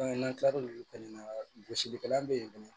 n'an kila l'olu fɛnɛ na gosilikɛla be ye